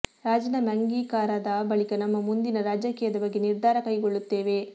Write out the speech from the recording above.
ರಾಜೀನಾಮೆ ಅಂಗೀಕಾರದ ಬಳಿಕ ನಮ್ಮ ಮುಂದಿನ ರಾಜಕೀಯದ ಬಗ್ಗೆ ನಿರ್ಧಾರ ಕೈಗೊಳ್ಳುತ್ತೇವೆ